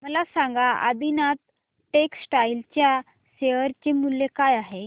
मला सांगा आदिनाथ टेक्स्टटाइल च्या शेअर चे मूल्य काय आहे